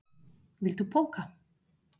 Viltu poka?